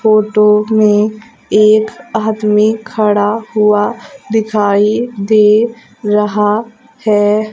Photo में एक आदमी खड़ा हुआ दिखाई दे रहा है।